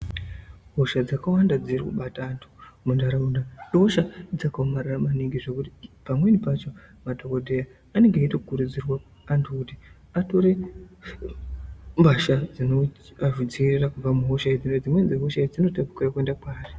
Hosha dzakawanda dzirikubata antu muntaraunda ihosha dzakaomarara maningi zvokuti pamweni pacho madhokodheya anenge eitokurudzirwa antu kuti atore mbasha dzinoadzivirira kubva muhosha idzi nekuti dzimweni dzehosha idzi dzinotapukira kuenda kwaari.